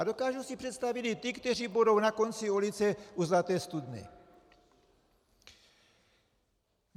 A dokážu si představit i ty, kteří budou na konci ulice u Zlaté studny.